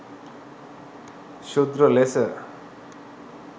ශුද්‍ර ලෙස